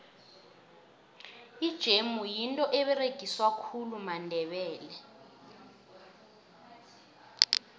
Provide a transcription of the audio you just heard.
ijemu yinto eberegiswa khulu mandebele